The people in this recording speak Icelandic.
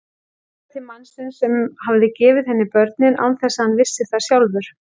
Leitað til mannsins sem hafði gefið henni börnin án þess að hann vissi það sjálfur.